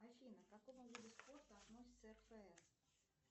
афина к какому виду спорта относится рфс